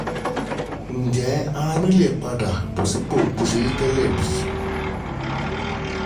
Ǹjẹ́ ara mi lè padà sí bó ṣe rí tẹ́lẹ̀ bí?